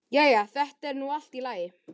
Jæja, þetta er nú allt í lagi.